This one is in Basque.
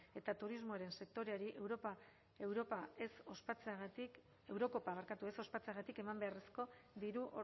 eta turismoaren sektoreari eurocopa ez ospatzeagatik eman beharrezko diru